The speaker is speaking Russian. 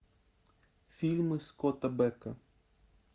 фильмы скотта бека